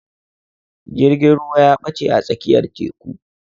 Jirgin ruwa ya ɓache a tsakiyar teƙu.